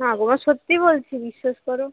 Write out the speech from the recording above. না গো মা সত্যি বলছি বিশ্বাস করো